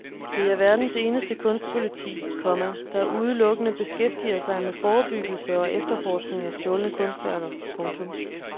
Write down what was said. Det er verdens eneste kunstpoliti, komma der udelukkende beskæftiger sig med forebyggelse og efterforskning af stjålne kunstværker. punktum